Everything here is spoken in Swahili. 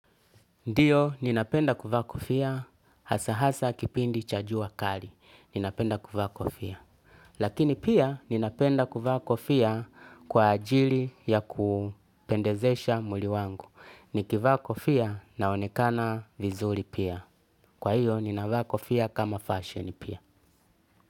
Ndiyo, ninapenda kuvaa kofia hasa hasa kipindi cha jua kali. Ninapenda kufa kufia. Lakini pia, ninapenda kuvaa kofia kwa ajili ya kupendezesha mwili wangu. Nikivaa kofia naonekana vizuri pia. Kwa hiyo, ninavaa kofia kama fashion pia.